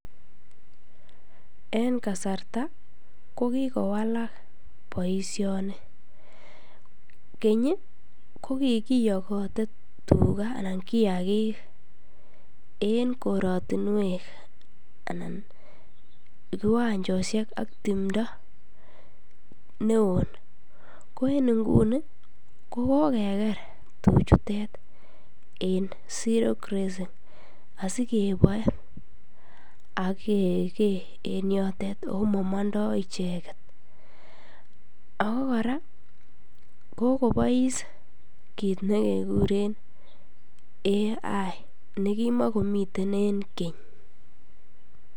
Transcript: En kasarta ko kikowalak boisioni, keny ii ko kikiyokoti tuga anan kiyagik en koratinwek anan kiwanjosiek ak timdo ne won, ko en inguni ko kokeker tuchutet en zero grazing, asikeboe ak kekee en yotet ako momondoi icheket, ako kora kokobois kiit ne kekuren artificial insemination ne kimokomiten en keny.